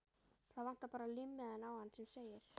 Það vantar bara límmiðann á hann sem segir